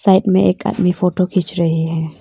Side में एक आदमी फोटो खींच रहे है।